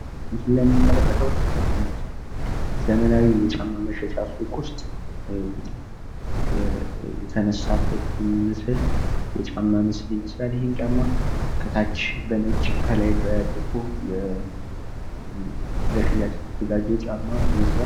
ምስሉ ላይ የምንመለከተው ዘመናዊ ጫማ መሸጫ ሱቅ ውስጥ የተነሳ ምስል የጫማ ምስል ይመስልላል። ይሄ ጫማ ከታች በነጭ ከላይ በጥቁር ለሽያጭ የተዘጋጀ ጫማ ይመስላል።